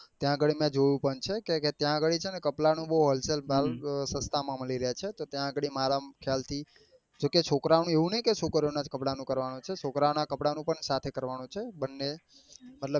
ત્યાં ગાડી મેં જોયું પણ છે કે કે ત્યાં ગાડી છે ને કપડા નું બઉ wholesale ભાવ સસ્તા માં મળી રહ્યા છે તો ત્યાં ગાડી મારા ખ્યાલ થી જો કે છોકરા ઓ નું એવું નહિ કે છોકરીઓ ના કપડા નું જ કરવા નું છે છોકરા ઓ નાં કપડા નું પણ સાથે કરવા નું છે. મતલબ કે